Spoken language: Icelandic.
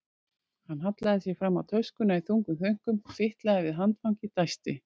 Hann hallaði sér fram á töskuna í þungum þönkum, fitlaði við handfangið, dæsti.